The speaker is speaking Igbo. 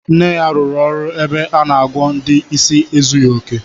Nne ya rụrụ ọrụ ebe a na-agwọ ndị isi ezughi oke